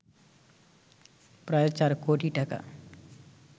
প্রায় ৪ কোটি টাকা